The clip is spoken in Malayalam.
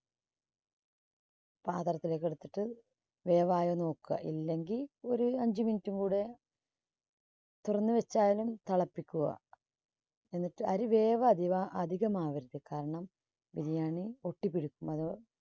പാത്രത്തിലേക്കെടുത്തിട്ട് വേവായൊന്ന് നോക്കുക. ഇല്ലെങ്കിൽ ഒരു അഞ്ചു minute ും കൂടെ തുറന്നുവച്ചായാലും തിളപ്പിക്കുക. എന്നിട്ട് അരി വേവതിക~അധികമാവരുത് കാരണം biriyani ഒട്ടിപ്പിടിക്കും. അത്